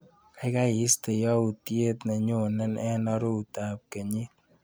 Kaikai istee yautyet nenyone eng aroutab kenyit..